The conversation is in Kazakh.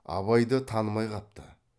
абайды танымай қапты